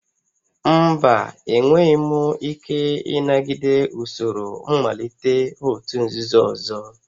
Mba, enweghị m ike ịnagide usoro mmalite òtù nzuzo ọzọ